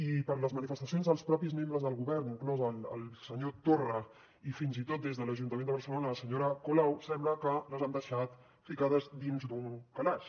i per les manifestacions dels mateixos membres del govern inclòs el senyor torra i fins i tot des de l’ajuntament de barcelona la senyora colau sembla que les han deixat ficades dins d’un calaix